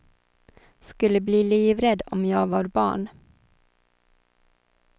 Skulle bli livrädd om jag var barn.